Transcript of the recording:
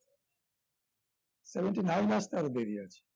seventy-nine আসতে আরো দেরি আছে